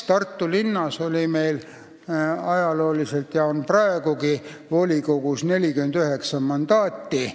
Tartu volikogus on ajalooliselt olnud ja on praegugi 49 mandaati.